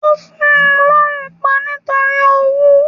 Ó fun lọ́rùn pa nítorí owú